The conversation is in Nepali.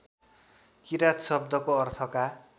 किराँत शब्दको अर्थका